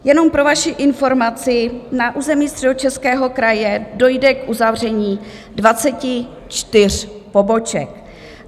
Jenom pro vaši informaci, na území Středočeského kraje dojde k uzavření 24 poboček.